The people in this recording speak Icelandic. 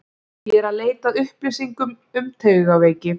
Ég er eð leita að upplýsingum um taugaveiki.